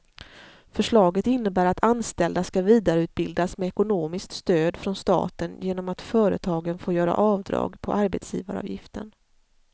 Förslaget innebär att anställda ska vidareutbildas med ekonomiskt stöd från staten genom att företagen får göra avdrag på arbetsgivaravgiften.